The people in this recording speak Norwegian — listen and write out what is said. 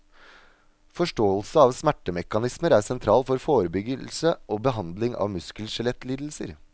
Forståelse av smertemekanismer er sentral for forebyggelse og behandling av muskelskjelettlidelser.